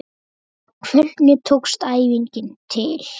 Hvernig tókst æfingin til?